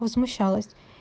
возмущалась